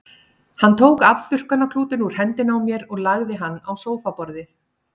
Hann tók afþurrkunarklútinn úr hendinni á mér og lagði hann á sófaborðið.